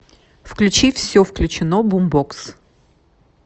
включи все включено бумбокс